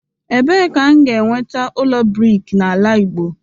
Ebee ka m ga-enweta ụlọ brik n'ala Igbo?